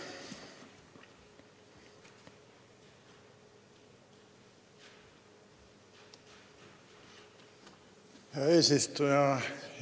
Hea eesistuja!